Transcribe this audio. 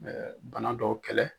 Ɛɛ bana dɔ kɛlɛ